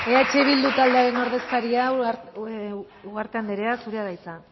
becerra jauna eh bildu taldearen ordezkaria ugarte anderea zurea da hitza